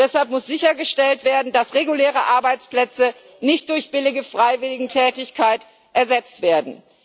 Deshalb muss sichergestellt werden, dass reguläre Arbeitsplätze nicht durch billige Freiwilligentätigkeit ersetzt werden.